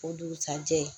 O dugusɛjɛ